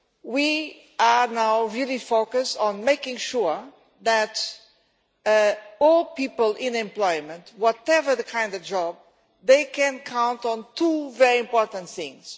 We are now really focused on making sure that all people in employment, whatever the kind of job, can count on two very important things.